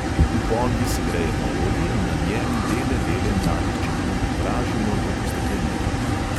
V ponvi segrejemo olje in na njem bele dele mladih čebul opražimo, da posteklenijo.